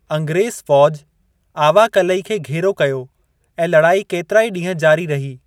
अंग्रेज़ु फ़ौज आवा क़लई खे घेरो कयो ऐं लड़ाई केतिराई ॾींहं जारी रही।